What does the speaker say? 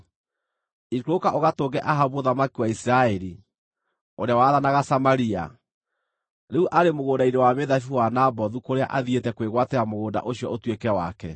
“Ikũrũka ũgatũnge Ahabu mũthamaki wa Isiraeli, ũrĩa wathanaga Samaria. Rĩu arĩ mũgũnda-inĩ wa mĩthabibũ wa Nabothu kũrĩa athiĩte kwĩgwatĩra mũgũnda ũcio ũtuĩke wake.